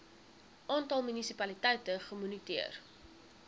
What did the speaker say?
aantal munisipaliteite gemoniteer